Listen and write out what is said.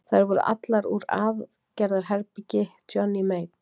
Þær voru allar úr aðgerðaherbergi Johnny Mate.